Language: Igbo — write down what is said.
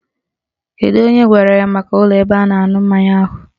Kedu onye gwara ya maka ụlọ ebe a na-aṅụ mmanya ahụ?